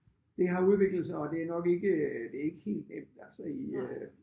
Det har udviklet sig og det er nok ikke det er ikke helt nemt altså i øh